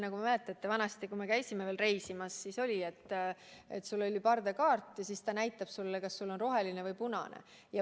Nagu te mäletate, vanasti, kui me käisime veel reisimas, siis oli nii, et sul oli pardakaart ja pult näitas sulle, kas sul on roheline või punane.